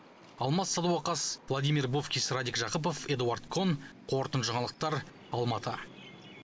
алмас садуақас владимир бовкис радик жақыпов эдуард кон қорытынды жаңалықтар алматы